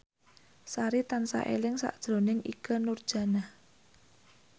Sari tansah eling sakjroning Ikke Nurjanah